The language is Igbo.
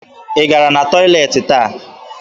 Ị gara na tọyịleetị taa?